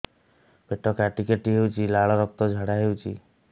ପେଟ କାଟି କାଟି ହେଉଛି ଲାଳ ରକ୍ତ ଝାଡା ହେଉଛି